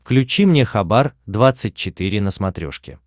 включи мне хабар двадцать четыре на смотрешке